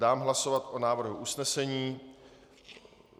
Dám hlasovat o návrhu usnesení.